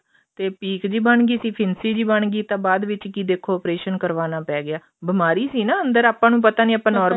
ਤੇ ਪੀਕ ਜੀ ਬਣ ਗਈ ਸੀ ਫਿੰਸੀ ਜੀ ਬਣ ਗਈ ਤਾਂ ਬਾਅਦ ਵਿੱਚ ਕੀ ਦੇਖੋ operation ਕਰਵਾਉਣਾ ਪੈ ਗਿਆ ਬੀਮਾਰੀ ਸੀ ਨਾ ਅੰਦਰ ਆਪਾਂ ਨੂੰ ਪਤਾ ਨੀ ਆਪਾਂ normal